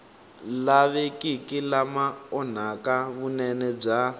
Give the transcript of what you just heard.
lavekiki lama onhaka vunene bya